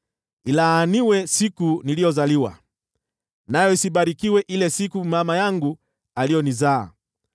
Ilaaniwe siku niliyozaliwa! Nayo isibarikiwe ile siku mama yangu aliyonizaa!